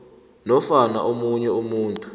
nofana omunye umuntu